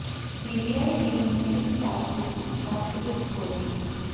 CBI team ने इस बात की सूचना पुलिस को दी